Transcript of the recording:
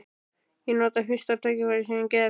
Ég nota fyrsta tækifæri sem gefst.